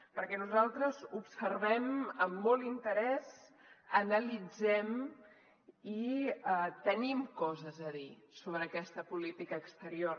perquè nosaltres observem amb molt interès analitzem i tenim coses a dir sobre aquesta política exterior